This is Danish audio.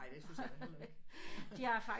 Ej det synes jeg da heller ikke